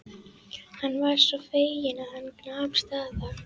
Hann var svo feginn að hann nam staðar.